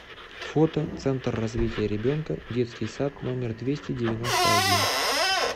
фото центр развития ребенка детский сад номер двести девяносто один